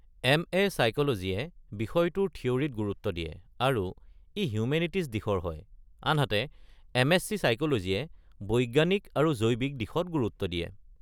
M A. ছাইক’লজীয়ে বিষয়টোৰ থিঅ'ৰিত গুৰুত্ব দিয়ে আৰু ই হিউমেনিটিজ দিশৰ হয় আনহাতে এম.এছ.চি. ছাইক’লজীয়ে বৈজ্ঞানিক আৰু জৈৱিক দিশত গুৰুত্ব দিয়ে।